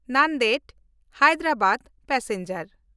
Nanded-Hyderabad passenger